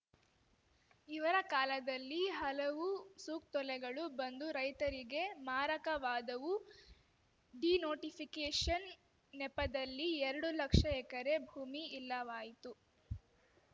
ಇವರ ಕಾಲದಲ್ಲಿ ಹಲವು ಸುಕ್ತೊಲೆಗಳು ಬಂದು ರೈತರಿಗೆ ಮಾರಕವಾದವು ಡಿನೋಟಿಫಿಕೇಷನ್‌ ನೆಪದಲ್ಲಿ ಎರಡು ಲಕ್ಷ ಎಕರೆ ಭೂಮಿ ಇಲ್ಲವಾಯಿತು